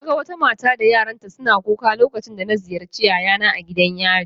Naga wata mata da yaranta suna kuka lokacin da na ziyarci yayana a gidan yari